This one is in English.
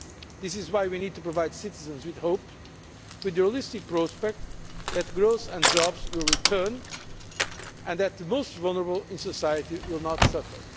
This is why we need to provide citizens with hope, and a realistic prospect that growth and jobs will return and that the most vulnerable in society will not suffer.